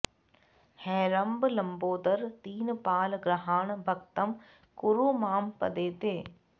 हेरम्ब लम्बोदर दीनपाल गृहाण भक्तं कुरु मां पदे ते